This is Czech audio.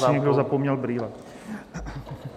Tady si někdo zapomněl brýle.